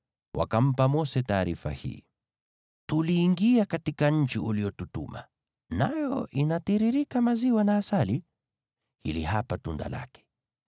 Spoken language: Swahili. Wakampa Mose taarifa hii: “Tuliingia katika nchi uliyotutuma, nayo inatiririka maziwa na asali! Hili hapa tunda lake.